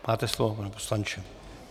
Máte slovo, pane poslanče.